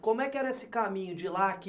Como é que era esse caminho de lá a aqui?